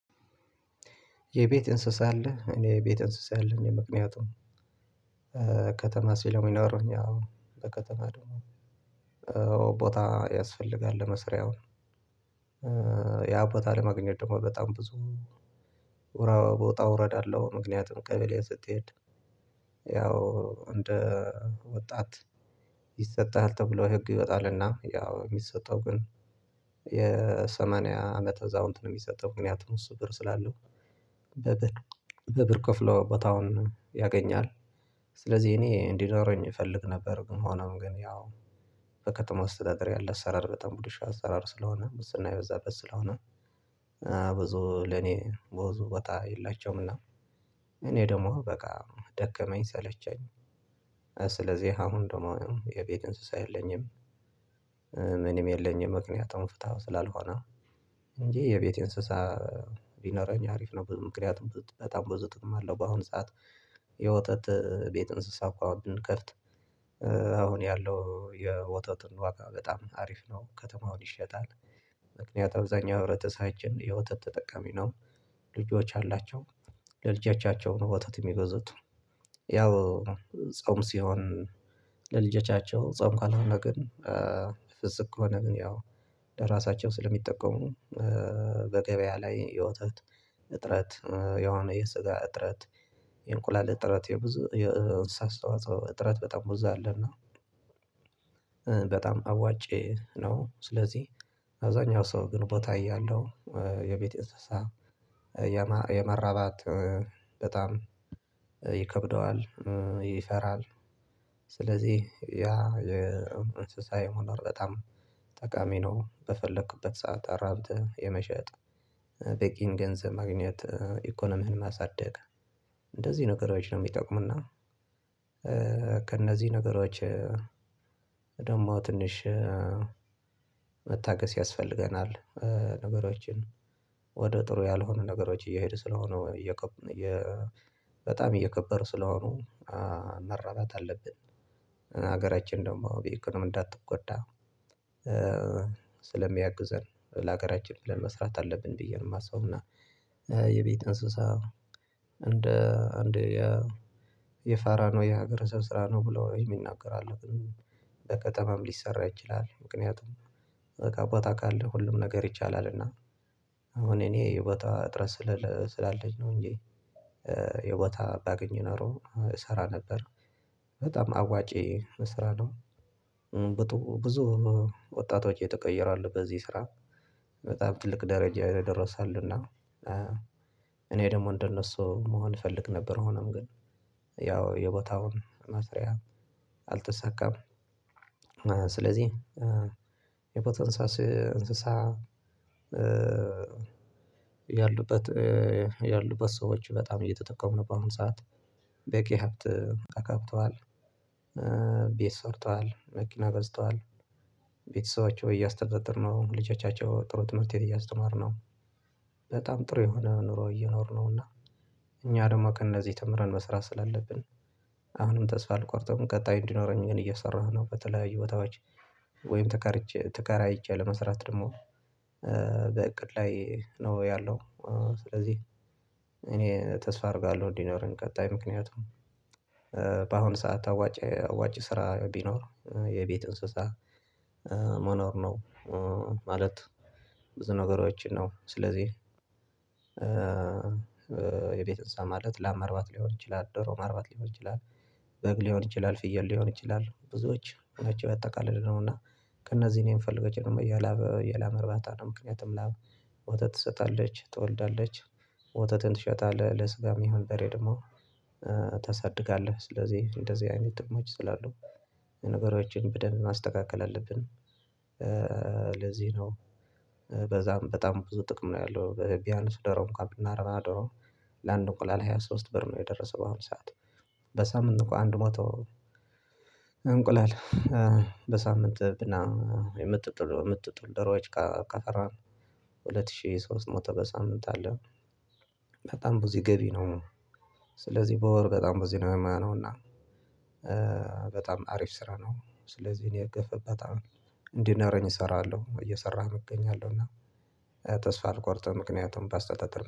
የቤት እንስሳ አለ እኔ የቤት እንስሳ የለኝም። ምክንያቱም ከተማ ሲለም የሚኖረውኝ እኛ በከተማ ደም ቦታ ያስፈልጋል ለመስሪያውን ያቦታ ለማግኘት ደግሞ በጣም ብዙ ኡራ ውጣ ውረድ አለው። ምክንያቱም ቀበሌ ስትሄድ ያው እንደ ወጣት ይሰጥሃል ተብሎ ህግ ይወጣልና ያው የሚሰጠው ግን የሰማንያ አመት እዛው አዛውንት ነው የሚሰጠው ምክንያቱም እሱ ብር ስላለው በብር በብር ከፍሎ ቦታውን ያገኛል ስለዚህ እኔ እንዲኖረኝ እፈልግ ነበር። ግን መሆኖም ግን ያው በከተማ አስተዳደር ያለ አሰራር በጣም ቡልሹ አሰራር ስለሆነ ሙስና የበዛ በት ስለሆነ ብዙ ለኔ ብዙ ቦታ የላቸውም እና እኔ ደግሞ በቃ ደከመኝ ሰለቸኝ ስለዚህ አሁን ደግሞ የቤት እንስሳ የለኝም። ምንም የለኝም ምክንያቱም ፍታው ስላልሆነ እንጂ የቤቴ እንስሳ ቢኖረኝ አሪፍ ነው ምክንያቱም በጣም ብዙ ጥቅም አለው። በአሁን ሰዓት የወተት ቤት እንስሳ እኮ አሁን ብንከፍት ያለው የወተትን ዋጋ በጣም አሪፍ ነው ከተማውን ይሸጣል። ምክንያቱም አብዛኛው ህብረተሳችን የውተት ተጠቃሚ ነው ልጆች አላቸው ለልጃቸው ነው ውተት የሚገዙት ያው ጾም ሲሆን ለልጆቻቸው ጾም ካልሆነ ግን ፍጹም ከሆነ ግን ያው ለራሳቸው ስለሚጠቀሙ በገበያ ላይ የወተት እጥረት የሆነ የስጋ እጥረት የእንቁላል እጥረት የብዙ የእንስሳ አስተዋጽኦ እጥረት በጣም ብዛ አለና። በጣም አዋጪ ነው ስለዚህ አብዛኛው ሰው ግን ቦታ እያለው የቤት እንስሳ የመራባት በጣም ይከብደዋል ይፈራል ስለዚህ ያ የእንስሳ የመኖር በጣም ጠቃሚ ነው። በፈለኩበት ሰዓት አራብት የመሸጥ በቂን ገንዘብ ማግኘት ኢኮኖሚን ማሳደግ እንደዚህ ነገሮች ነው የሚጠቁምና ከእነዚህ ነገሮች ደግሞ ትንሽ መታገስ ያስፈልገናል። ነገሮችን ወደ ጥሩ ያልሆኑ ነገሮች እየሄዱ ስለሆነው በጣም እየከበር ስለሆኑ መራራት አለብን ሀገራችን ደግሞ በ ኢኮኖሚ እንዳትጎዳ ስለሚያግዘን ለሀገራችን ብለን መስራት አለብን ብዬ ነው የማስበው። እና የቤት እንስሳ እንደ አንድ የ የፋራ ነው የሀገረ ሰው ስራ ነው ብሎ የሚናገሩ ኣሉ በከተማም ሊሰራ ይችላል ምክንያቱም በቃ ቦታ ካለ ሁሉም ነገር ይቻላልና። እና አሁን እኔ የቦታ እጥረት ስላለች ነው እንጂ የቦታ ባገኝ ኖሮ እሰራ ነበር በጣም አዋጪ ስራ ነው። ብዙ ወጣቶች የተቀየረ አሉ በዚህ ስራ በጣም ትልቅ ደረጃ ይደረሳሉና እኔ ደግሞ እንደነሱ መሆን እፈልግ ነበር ሆኖም ግን ያው የቦታውን መስሪያ አልተሰካም አልተሳካም። ስለዚህ የፖተንሳስ እንስሳ ያሉበት ያሉበት ሰዎች በጣም እየተጠቀሙ ነው በአሁን ሰዓት በቂ ሀብት አካብተዋል። ቤት ሰርተዋል መኪና ገዝተዋል ቤተሰቦቹ እያስተዳደርነው ልጆቻቸው ጥሩ ትምህርት እያስተማሩ ነው በጣም ጥሩ የሆነ ኑሮ እየኖርነው እና እኛ ደግሞ ከእነዚህ ተምረን መስራት ስላለብን አሁንም ተስፋ አልቆርጥም። ቀጣይ እንዲኖረኝ ግን እየሰራሁ ነው በተለይ ቦታዎች ወይም ተከራይቼ ለመስራት ደግሞ በእቅድ ላይ ነው ያለው። ስለዚህ እኔ ተስፋ አረርጋለሁ እንዲኖረን ቀጣይ ምክንያቱም በአሁኑ ሰዓት አዋጭ አዋጭ ስራ ቢኖር የቤት እንስሳ መኖር ነው። ማለት ብዙ ነገሮችን ነው ስለዚህ የቤት እንስሳ ማለት ላም ማርባት ሊሆን ይችላል ዶሮ ማርባት ሊሆን ይችላል በግ ሊሆን ይችላል ፍየል ሊሆን ይችላል ብዙዎች ናቸው ያጣቃለል ነውና። ከእነዚህ እኔ የምፈልጋቸ ደም የላብ የላም ርባታ ነው ምክንያቱም ላብ ወተት ትሰጣለች ትወልዳለች ወተትን ትሸጣለህ ለስጋም ይሁን ደሬ ደግሞ ታሳድጋለህ ስለዚህ እንደዚህ አይነት ጥቅምች ስላሉ ነገሮችን በደንብ ማስተካከል አለብን። ለዚህ ነው በዛም በጣም ብዙ ጥቅም ነው ያለው በቢያነስ ዶሮ እንኳን ብናራባ ዶሮ ለአንድ እንቁላል ሃያ ሶስት ብር ነው የደረሰው በአሁን ሰዓት በሳምንት እንካ አንድ መቶ እንቁላል በሳምንት ብና የምትጥሉ የምትጥሉ ደሮች ካፈራን ሁለት ሺህ ሶስት ሞተ በሳምንት አለን በጣም ብዙ ገቢ ነው ስለዚህ በወር በጣም ብዙ ነው የሚሆነው ነው እና በጣም አሪፍ ስራ ነው። ስለዚህ እኔ የገፈበት በጣም እንዲኖረኝ እሰራለሁ እየሰህም እገኛለሁ እና ተስፋ አልቆርጥም። ምክንያቱም በስተተል